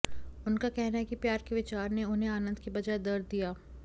उनका कहना है कि प्यार के विचार ने उन्हें आनंद के बजाय दर्द दिया